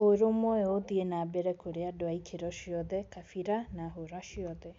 ũrũmwe ũyũ ĩthiĩ nambere kũrĩ andũ a ikĩro ciothe, kabira na hũra ciothe.